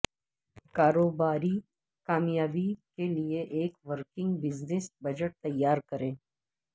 کاروباری کامیابی کے لئے ایک ورکنگ بزنس بجٹ تیار کریں